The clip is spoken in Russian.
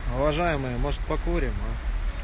уважаемые может покурим а